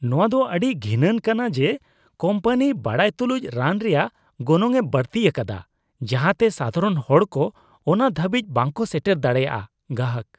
ᱱᱚᱣᱟᱫᱚ ᱟᱹᱰᱤ ᱜᱷᱤᱱᱟᱱ ᱠᱟᱱᱟ ᱡᱮ ᱠᱳᱢᱯᱟᱱᱤ ᱵᱟᱰᱟᱭ ᱛᱩᱞᱩᱡ ᱨᱟᱱ ᱨᱮᱭᱟᱜ ᱜᱚᱱᱚᱝᱼᱮ ᱵᱟᱹᱲᱛᱤ ᱟᱠᱟᱫᱟ ᱡᱟᱦᱟᱛᱮ ᱥᱟᱫᱷᱟᱨᱚᱱ ᱦᱚᱲ ᱠᱚ ᱚᱱᱟ ᱦᱟᱹᱵᱤᱡ ᱵᱟᱝᱠᱚ ᱥᱮᱴᱮᱨ ᱫᱟᱲᱮᱭᱟᱜ ᱾(ᱜᱟᱦᱟᱠ)